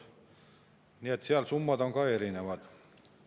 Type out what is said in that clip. Nii et seal on need summad ka erinevad.